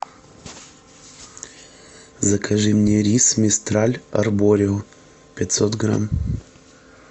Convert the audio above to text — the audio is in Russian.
закажи мне рис мистраль арборио пятьсот грамм